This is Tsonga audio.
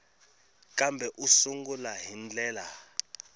kambe u sungula hi ndlela